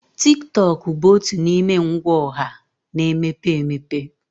Tiktok bụ otu n'ime ngwa ọha na-emepe emepe.